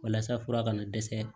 Walasa fura kana dɛsɛ